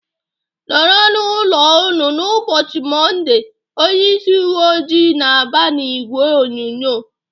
"Nọrọ nụ n'ụlọ unu n'ubochi mondee!" Onye ịsị uwe ojii na-aba n'ìgwè onyonyo.